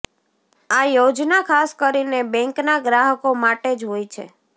આ યોજના ખાસ કરીને બેંકના ગ્રાહકો માટે જ હોય છે